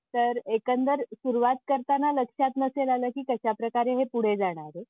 तर एकंदर सुरुवात करताना लक्षात नसेल आला की कशाप्रकारे ते पुढे जाणारे.